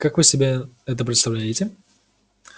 как вы себе это представляете